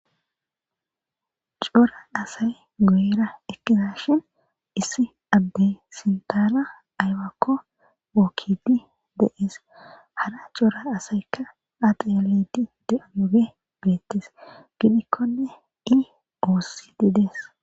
Coora asay goyra ekizashin issi abdey sintaana aywakko wookkidi deees hara coura asaykka atealedi de'amoge beettes gidikkonne i oossididees.